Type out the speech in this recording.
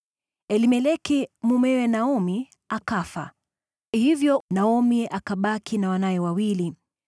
Elimeleki mumewe Naomi akafa, hivyo Naomi akabaki na wanawe wawili.